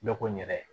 Dɔ ko n yɛrɛ